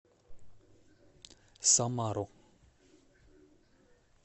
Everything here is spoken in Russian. самару